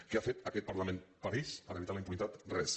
què ha fet aquest parlament per ells per evitar la impunitat res